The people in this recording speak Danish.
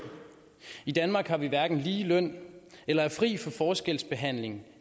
i danmark har vi hverken lige løn eller er fri for forskelsbehandling